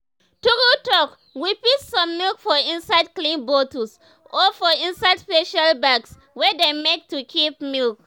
true talk we fit store milk for inside clean bottles or for inside special bags wey them make to keep milk.